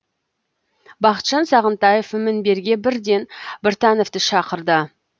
бақытжан сағынтаев мінберге бірден біртановты шақырды